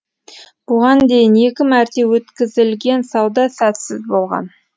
бұған дейін екі мәрте өткізілген сауда сәтсіз болған